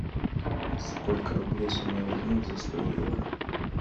сколько рублей с меня возьмут за сто евро